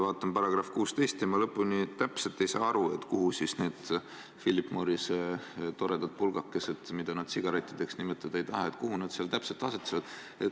Vaatan § 16 ja päris täpselt ei saa aru, kuhu siis need Philip Morrise toredad pulgakesed, mida nad sigarettideks nimetada ei taha, seal täpselt asetuvad.